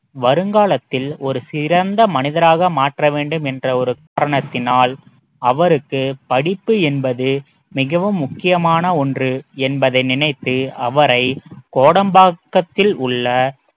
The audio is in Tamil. வருங்காலத்தில் ஒரு சிறந்த மனிதராக மாற்ற வேண்டும் என்ற ஒரு காரணத்தினால் அவருக்கு படிப்பு என்பது மிகவும் முக்கியமான ஒன்று என்பதை நினைத்து அவரை கோடம்பாக்கத்தில் உள்ள